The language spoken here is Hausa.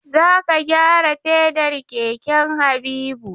Za ka gyara fedar keken Habibu!